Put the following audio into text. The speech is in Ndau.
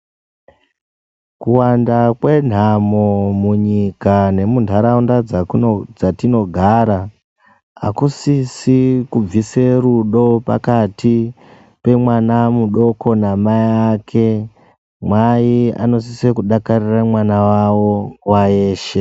Kuwanda kwenhamo munyika nemunharaunda dzatinogara hakusisi kubvisa rudo pakati pemwana mudoko namai ake. Mai anosise kudakarira mwana wawo nguwa yeshe.